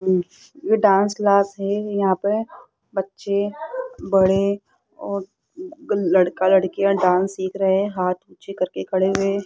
ये dance class है यहां पे बच्चे बड़े और लड़का लड़कियां डांस सीख रहे हैं हाथ पीछे करके खड़े हुए --